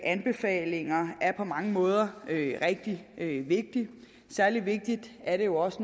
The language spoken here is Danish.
anbefalinger er på mange måder rigtig vigtige særlig vigtigt er det jo også